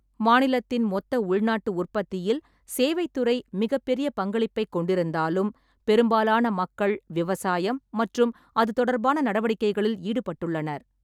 மாநிலத்தின் மொத்த உள்நாட்டு உற்பத்தியில் சேவைத் துறை மிகப்பெரிய பங்களிப்பைக் கொண்டிருந்தாலும், பெரும்பாலான மக்கள் விவசாயம் மற்றும் அது தொடர்பான நடவடிக்கைகளில் ஈடுபட்டுள்ளனர்.